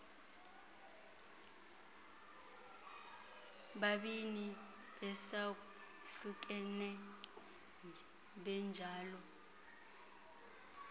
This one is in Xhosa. babini besahlukene benjalo